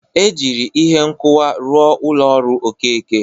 E jiri ihe nkụwa rụọ ụlọ ọrụ Okeke.